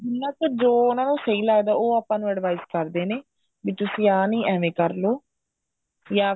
ਮਤਲਬ ਜੋ ਉਹਨਾ ਨੂੰ ਸਹੀ ਲੱਗਦਾ ਉਹ ਆਪਾਂ ਨੂੰ advice ਕਰਦੇ ਨੇ ਵੀ ਤੁਸੀਂ ਆ ਨਹੀਂ ਐਵੇਂ ਕਰਲੋ ਜਾਂ ਫਿਰ